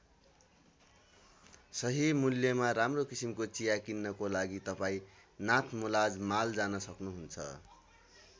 सही मुल्यमा राम्रो किसिमको चिया किन्नको लागि तपाईँ नाथमुलाज माल जान सक्नुहुन्छ।